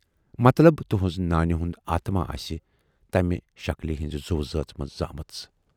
مطلب تُہٕنزِ نانہِ ہُند آتما آسہِ تمہِ شکلہٕ ہٕنزِ زُوٕ زٲژ منز ژامٕژ۔